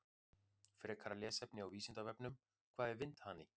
Frekara lesefni á Vísindavefnum: Hvað er vindhani?